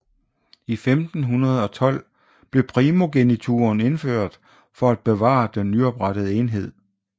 I 1512 blev primogenituren indført for at bevare den nyoprettede enhed